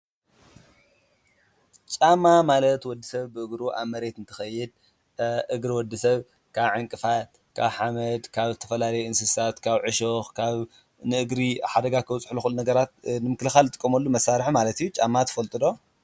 ጫማ ማለት ወዲ ሰብ ብእግሩ ኣብ መሬት እንተኸይድ እግሪ ወዲ ሰብ ካብ ዕንቅፋ ካብ ሓመድ ካብ ተፈላለዩ እንስሳት፣ ካብ ዕሾኽ ፣ካብ ንእግሪ ሓደጋ ኸውፅሑ ለኽእሉ ነገራት ንምክልኻል ዝጥቆመሉ መሳርሒ ማለት እዩ፡፡ ጫማ ትፈልጡ ዶ?